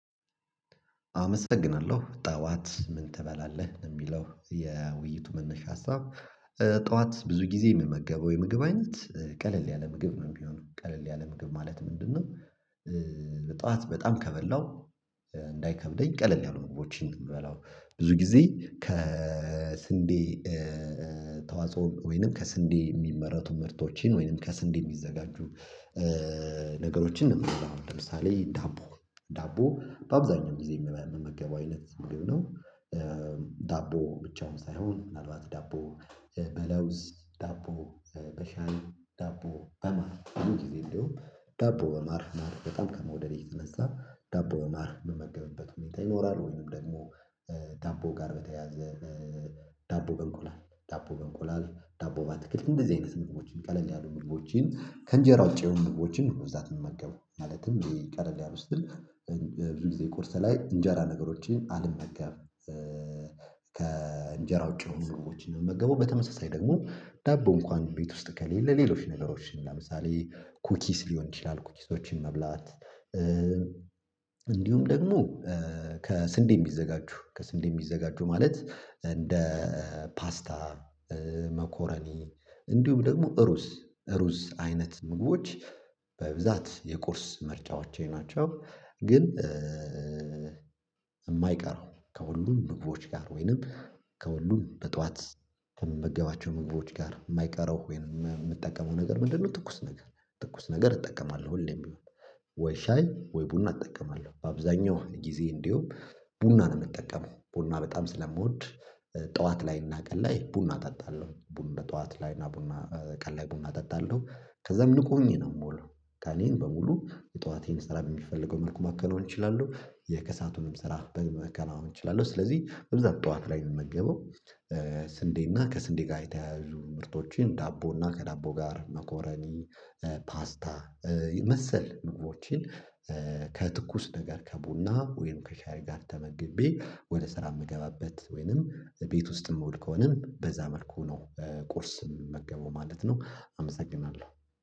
አመሰግናለሁ ጠዋት ምን ትበላለህ የሚለው የውይይቱ መነሻ ሀሳብ? ጠዋት ብዙ ጊዜ የምመገበው የምግብ አይነት ቀለል ያለ ምግብ ነው የሚሆነው ቀለል ያለ ምግብ ማለት ምንድነው? ጠዋት በጣም ከበላሁ እንዳይከብደኝ ቀለል ያሉ ምግቦችን የሚበላው ብዙ ጊዜ ከስንዴ ተዋጽኦ ወይንም ከስንዴ የሚመረቱ ምርቶችን ወይንም ከስንዴ የሚዘጋጁ ነገሮችን ነው የምበላው ለምሳሌ ዳቦ ዳቦ በአብዛኛው ጊዜ የምመገበው አይነት ምግብ ነው። ዳቦ ብቻውን ሳይሆን ምናልባት ዳቦ በለውዝ ዳቦ በሻይ ዳቦ በማር ብዙ ጊዜ እንደውም ዳቦ በማር ማር በጣም ከመውደዴ የተነሳ ዳቦ በማር የምመገብበት ሁኔታ ይኖራል። ወይንም ደግሞ ዳቦ ጋር በተያያዘ ዳቦ በእንቆላል ዳቦ በእንቆላል ዳቦ በአትክልት እንደዚህ አይነት ምግቦችን ቀለል ያሉ ምግቦችን ከእንጀራ ውጪ የሆኑ ምግቦችን ነው በብዛት የምመገበው ማለትም ቀለል ያሉ ስል ብዙ ጊዜ ቁርስ ላይ እንጀራ ነገሮችን አልመገብም። ከእንጀራ ውጪ ምግቦችን ነው የምመገበው በተመሳሳይ ደግሞ ዳቦ እንኳን ቤት ውስጥ ከሌለ ሌሎች ነገሮችን ለምሳሌ ኩኪስ ሊሆን ይችላል ኩኪሶችን መብላት። እንዲሁም ደግሞ ከስንዴ የሚዘጋጁ ከስንዴ የሚዘጋጁ ማለት እንደ ፓስታ መኮረኒ እንዲሁም ደግሞ ሩዝ ሩዝ አይነት ምግቦች በብዛት የቁርስ ምርጫዎቼ ናቸው። ግን የማይቀረው ከሁሉም ምግቦች ጋር ወይንም ከሁሉም በጠዋት ከምመገባቸው ምግቦች ጋር የማይቀረው ወይንም የምጠቀመው ነገር ምንድነው? ትኩስ ነገር ትኩስ ነገር እጠቀማለሁ ሁሌም ወይ ሻይ ወይ ቡና እጠቀማለሁ። በአብዛኛው ጊዜ እንዲሁም ቡና ነው የምጠቀመው ቡና በጣም ስለምወድ ጠዋት ላይ እና ቀን ላይ ቡና እጠጣለሁ ቡና ጠዋት ላይ እና ቡና ቀን ላይ ቡና እጠጣለሁ። ከዛም ንቁ ሆኜ ነው የምለው ቀኔን በሙሉ የጠዋቴን ስራ በሚፈልገው መልኩ ማከናወን እችላለሁ የከሰዓቱንም ስራ መከናወን እችላለሁ። ስለዚህ በብዛት ጠዋት ላይ የምመገበው ስንዴ እና ከስንዴ ጋር የተያያዙ ምርቶችን ዳቦ እና ከዳቦ ጋር መኮረኒ ፓስታ መሰል ምግቦችን ከትኩስ ነገር ከቡና ወይም ከሻይ ጋር ተመግቤ ወደ ስራ የምገባበት ወይንም ቤት ውስጥም የምውል ከሆነም በዛ መልኩ ነው ቁርስም የምመገበው ማለት ነው። አመሰግናለሁ